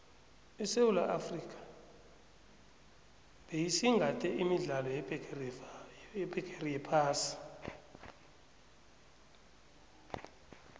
isewula afrika beyisingathe imidlalo yebhigeri yephasi